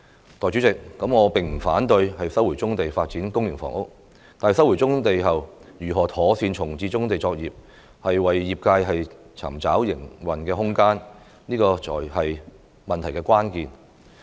代理主席，我並不反對收回棕地發展公營房屋，但收回棕地後，如何妥善重置棕地作業，為業界尋找營運空間，這才是問題的關鍵。